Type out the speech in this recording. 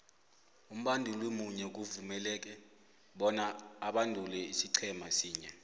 umbanduli munye uvumeleke bona abandule isiqhema sinye